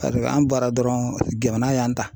an bɔra dɔrɔnw, jmana y'anw ta